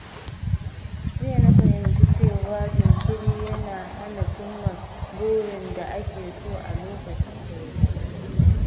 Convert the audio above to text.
Jiya na fahimci cewa jinkiri yana hana cimma burin da ake so a lokacin da ya dace.